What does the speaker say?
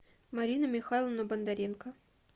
марину михайловну бондаренко